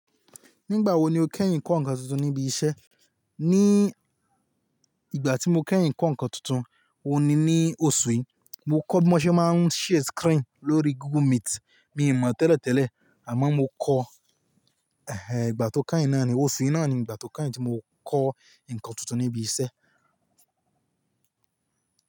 Nígbà wo ni o kẹ́yìn kọ́ ǹkan tuntun níbi iṣẹ́? Ní ìgbà tí mo kẹ́yìn kọ́ ǹkan tuntun, òun ni ní oṣù yìí. Mo kọ́ bí wọ́n ṣe máa ń share screen lórí Google Meet. Mi ò mọ̀ tẹ́lẹ̀ tẹ́lẹ̀, àmọ́ mo kọ́, ẹhẹ, ìgbà tó ká yìí náà ni, oṣù yìí náà ni ìgbà tó kányìn tí mo kọ́ ǹkan tuntun níbi iṣẹ́.